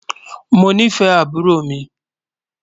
Mọ̀ ní fẹ̀ àbúrò mi